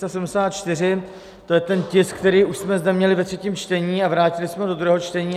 To je ten tisk, který už jsme zde měli ve třetím čtení a vrátili jsme ho do druhého čtení.